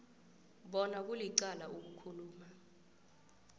bona kulicala ukukhuluma